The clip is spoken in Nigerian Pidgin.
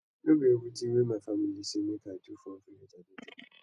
no be everytin wey my family say make i do for village i dey do